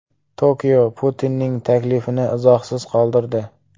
Tokio Putinning taklifini izohsiz qoldirdi.